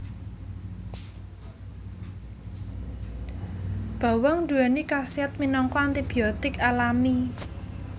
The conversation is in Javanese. Bawang nduwèni khasiat minangka antibiotik alami